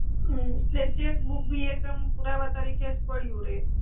હ એટ્લે ચેક્બુક ભી એક એમ પુરાવા તરિકે જ પડ્યુ રે.